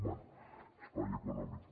bé espai econòmic